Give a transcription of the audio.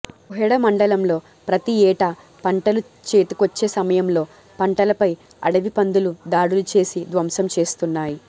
కోహెడ మం డలంలో ప్రతీ యేటా పంటలు చేతికొచ్చే సమయంలో పంటలపై అడవి పందులు దాడులు చేసి ధ్వంసం చేస్తున్నాయి